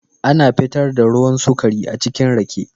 Ana fitar da ruwan sukari achikin Rake.